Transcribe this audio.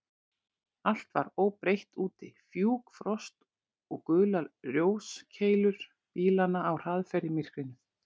Allt var óbreytt úti: fjúk, frost og gular ljóskeilur bílanna á hraðferð í myrkrinu.